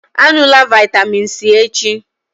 Á ṅụlà vitamin c echi!